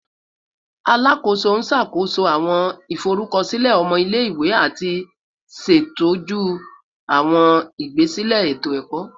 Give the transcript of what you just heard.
Alakoso n ṣakoso awọn iforukọsilẹ ọmọ ile-iwe ati ṣetọju awọn igbasilẹ eto-ẹkọ